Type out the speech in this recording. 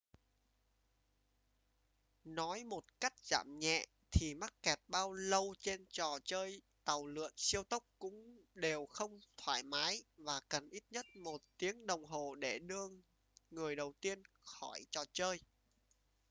nói một cách giảm nhẹ thì mắc kẹt bao lâu trên trò chơi tàu lượn siêu tốc cũng đều không thoải mái và cần ít nhất một tiếng đồng hồ để đưa người đầu tiên khỏi trò chơi